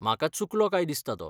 म्हाका चुकलो काय दिसता तो.